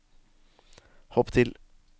hopp til